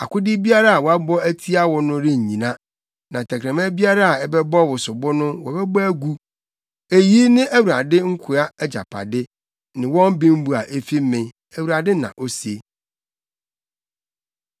akode biara a wɔabɔ atia wo no rennyina na tɛkrɛma biara a ɛbɛbɔ wo sobo no wobɛbɔ agu. Eyi ne Awurade nkoa agyapade, ne wɔn bembu a efi me,” Awurade na ose.